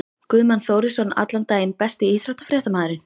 Guðmann Þórisson allan daginn Besti íþróttafréttamaðurinn?